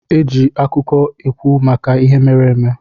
Eji akụkọ ekwu maka ihe mere eme.